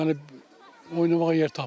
Yəni oynamağa yer tapmır.